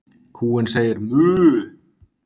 Kúin segir „mu“.